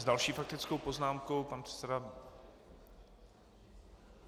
S další faktickou poznámkou pan předseda.